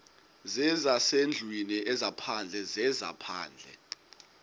zezasendlwini ezaphandle zezaphandle